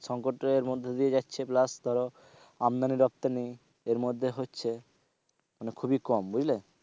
সংকটের মধ্য দিয়ে যাচ্ছে plus ধরো আমদানি রপ্তানি এর মধ্যে হচ্ছে মানে খুবই কম, বুঝলে?